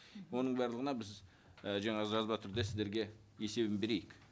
оның барлығына біз і жаңа жазба түрде сіздерге есебін берейік